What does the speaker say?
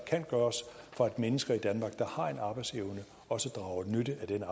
kan gøres for at mennesker i danmark der har arbejdsevne også drager nytte af den